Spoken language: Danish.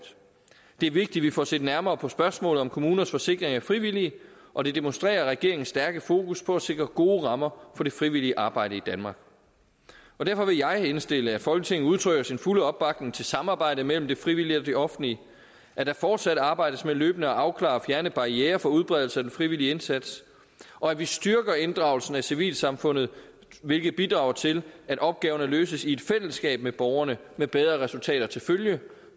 det er vigtigt at vi får set nærmere på spørgsmålet om kommuners forsikring af frivillige og det demonstrerer regeringens stærke fokus på at sikre gode rammer for det frivillige arbejde i danmark derfor vil jeg indstille at folketinget udtrykker sin fulde opbakning til samarbejdet mellem det frivillige og det offentlige at der fortsat arbejdes med løbende at afklare og fjerne barrierer for udbredelse af den frivillige indsats og at vi styrker inddragelsen af civilsamfundet hvilket bidrager til at opgaverne løses i et fællesskab med borgerne med bedre resultater til følge